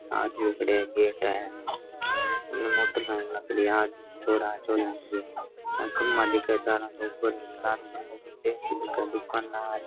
आदमी खड़ा है गेट है उन मोटर साइकिला खड़ी है छोरा छोरी --